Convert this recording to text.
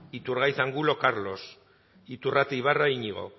iturgaiz angulo carlos iturrate ibarra iñigo